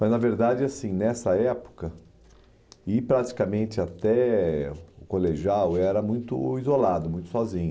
Mas, na verdade, assim, nessa época, ir praticamente até o colegial era muito isolado, muito sozinho.